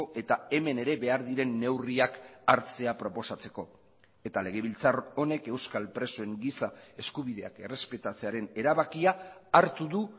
eta hemen ere behar diren neurriak hartzea proposatzeko eta legebiltzar honek euskal presoen giza eskubideak errespetatzearen erabakia hartu du